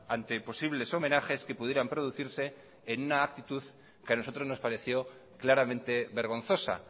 ante posibles homenajes que pudieran producirse en una actitud que a nosotros nos pareció claramente vergonzosa